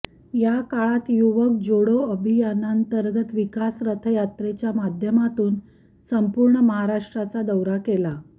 या काळात युवक जोडो अभियानांतर्गत विकास रथयात्रेच्या माध्यमातून संपूर्ण महाराष्ट्राचा दौरा केला